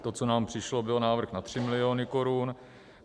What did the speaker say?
To, co nám přišlo, byl návrh na 3 miliony korun.